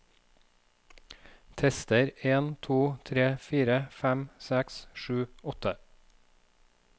Tester en to tre fire fem seks sju åtte